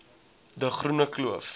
de groene kloof